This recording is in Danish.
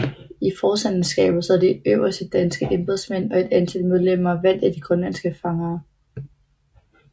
I forstanderskabet sad de øverste danske embedsmænd og et antal medlemmer valgt af de grønlandske fangere